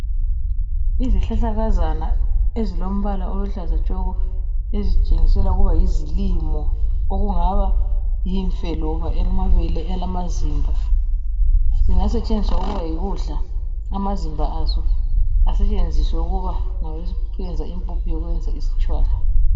Izihlahlakazana ezilombala oluhlaza tshoko ezitshengisela ukuba yizilimo okungaba yimfe loba amabele elamazimba. Ingasetshenziswa ukuba yikudla amazimba aso asetshenziswe ukuba ngawokuyenza impuphu yokwenza isitshwala.